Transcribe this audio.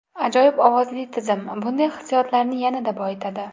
Ajoyib ovozli tizim bunday hissiyotlarni yanada boyitadi.